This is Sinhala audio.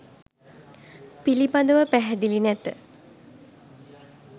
පිළිබඳව පැහැදිලි නැත.